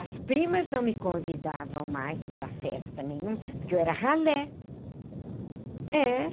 As primas não me convidavam mais para festa nenhuma, porque eu era ralé.